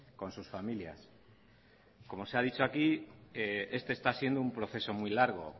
con sus familias como se ha dicho aquí este está siendo un proceso muy largo